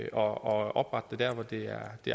og oprette dem der hvor det er